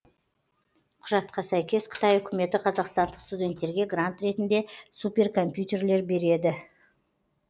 құжатқа сәйкес қытай үкіметі қазақстандық студенттерге грант ретінде суперкомпьютерлер береді